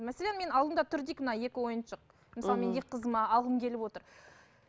мәселен мен алдымда тұр дейік мына екі ойыншық мхм мысалы мен екі қызыма алғым келіп отыр